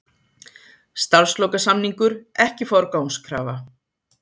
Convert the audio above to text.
Starfslokasamningur ekki forgangskrafa